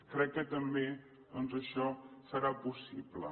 crec que també doncs això serà possible